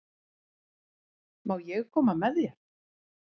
Má ég koma með þér?